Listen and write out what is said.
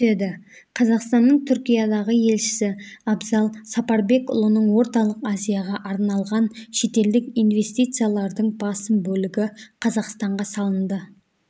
түседі қазақстанның түркиядағы елшісі абзал сапарбекұлының орталық азияға арналған шетелдік инвестициялардың басым бөлігі қазақстанға салынды